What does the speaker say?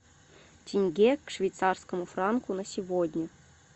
тенге к швейцарскому франку на сегодня